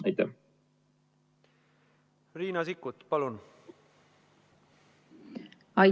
Riina Sikkut, palun!